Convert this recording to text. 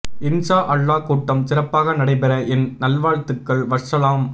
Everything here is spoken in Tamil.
இன்ஷா அல்லாஹ் கூட்டம் சிறப்பாக நடை பெற என் நல் வாழ்துக்கள் வஸ்ஸலாம்